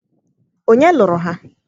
ònye luru ha?